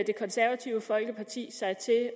det konservative folkeparti sig til at